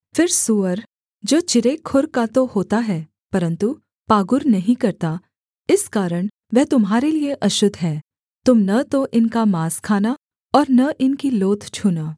फिर सूअर जो चिरे खुर का तो होता है परन्तु पागुर नहीं करता इस कारण वह तुम्हारे लिये अशुद्ध है तुम न तो इनका माँस खाना और न इनकी लोथ छूना